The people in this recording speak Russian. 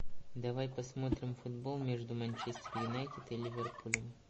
давай посмотрим футбол между манчестер юнайтед и ливерпулем